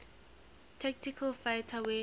tactical fighter wing